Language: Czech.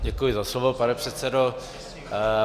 Děkuji za slovo, pane předsedo.